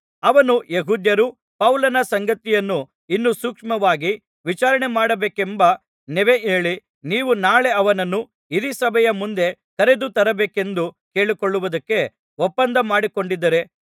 ಅವನು ಯೆಹೂದ್ಯರು ಪೌಲನ ಸಂಗತಿಯನ್ನು ಇನ್ನೂ ಸೂಕ್ಷ್ಮವಾಗಿ ವಿಚಾರಣೆಮಾಡಬೇಕೆಂಬ ನೆವ ಹೇಳಿ ನೀವು ನಾಳೆ ಅವನನ್ನು ಹಿರೀಸಭೆಯ ಮುಂದೆ ಕರೆದು ತರಬೇಕೆಂದು ಕೇಳಿಕೊಳ್ಳುವುದಕ್ಕೆ ಒಪ್ಪಂದ ಮಾಡಿಕೊಂಡಿದ್ದಾರೆ